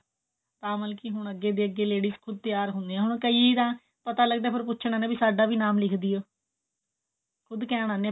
ਤਾਂ ਮਤਲਬ ਕਿ ਹੁਣ ਅੱਗੇ ਦੀ ਅੱਗੇ ladies ਖੁਦ ਤਿਆਰ ਹੁੰਦਿਆ ਹੁਣ ਕਈ ਤਾਂ ਪਤਾ ਲਗਦਾ ਫੇਰ ਪੁੱਛਨ ਆਂਦਿਆ ਵੀ ਸਾਡਾ ਵੀ ਨਾਮ ਲਿੱਖਦੋ ਖੁਦ ਕਹਿਣ ਆਂਦੀ